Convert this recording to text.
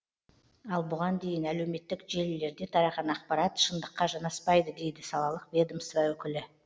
ал бұған дейін әлеуметтік желілерде тараған ақпарат шындыққа жанаспайды дейді салалық ведомство өкілі